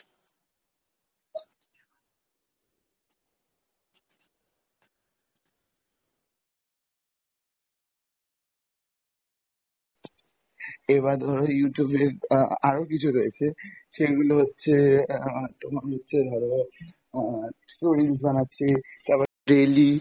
এবার ধরো Youtube video আ~আরো কিছু রয়েছে সেগুলো হচ্ছে আহ তোমার হচ্ছে ধরো আহ stories বানাচ্ছে তারপর daily